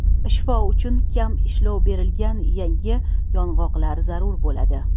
Shifo uchun kam ishlov berilgan yangi yong‘oqlar zarur bo‘ladi.